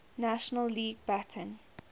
national league batting